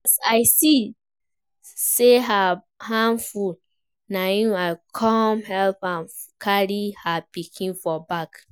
As I see say her hand full, na im I come help am carry her pikin for back